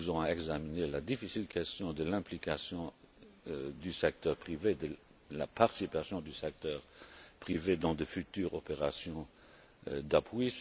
Nous allons examiner la difficile question de l'implication du secteur privé, de la participation du secteur privé dans de futures opérations